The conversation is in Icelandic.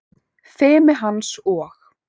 Fimi hans og